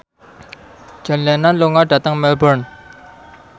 John Lennon lunga dhateng Melbourne